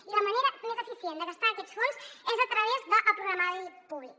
i la manera més eficient de gastar aquests fons és a través del programari públic